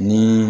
Ni